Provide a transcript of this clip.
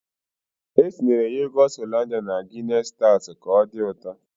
E tinyere yogọt Hollandia na Gịness staut ka ọ dị ụtọ.